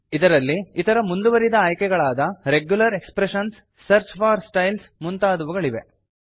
ಇದರಲ್ಲಿ ಇತರ ಮುಂದುವರಿದ ಆಯ್ಕೆಗಳಾದ regular expressions search for styles ಮುಂತಾದವುಗಳಿವೆ